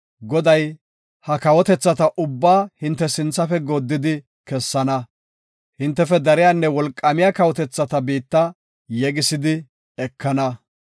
Goday ha kawotethata ubbaa hinte sinthafe gooddidi kessana. Hintefe dariyanne wolqaamiya kawotethata biitta yegisidi ekana.